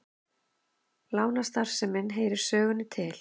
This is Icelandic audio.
Lánastarfsemin heyrir sögunni til